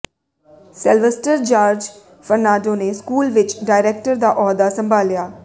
Sylvester George Fernando ਨੇ school ਵਿਚ director ਦਾ ਅਹੁਦਾ ਸੰਭਾਲਿਆ